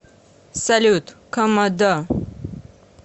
салют комодо